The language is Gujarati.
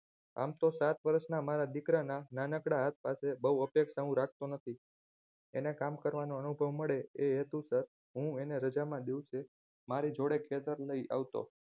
આમ તો સાત વર્ષના મારા દીકરાના નાનકડા હાથ પાસે બોવ અપેક્ષા હું રાખતો નથી અને કામ કરવાનો અનુભવ મળે એ હેતુસર હું તેને રજાના દિવસે મારી જોડે ખેતરે લય આવતો